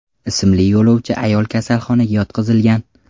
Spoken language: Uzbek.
ismli yo‘lovchi ayol kasalxonaga yotqizilgan.